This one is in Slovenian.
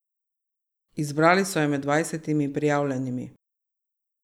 Izbrali so jo med dvajsetimi prijavljenimi.